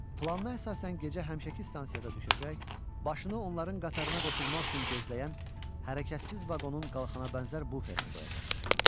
Plana əsasən gecə həmişəki stansiyada düşəcək, başını onların qatarına qoşulmaq üçün gözləyən hərəkətsiz vaqonun qalxana bənzər buferinə qoyacaqdı.